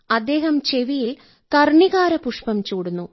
അദ്ദേഹം ചെവിയിൽ കർണികാര പുഷ്പം ചൂടുന്നു